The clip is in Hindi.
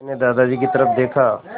मैंने दादाजी की तरफ़ देखा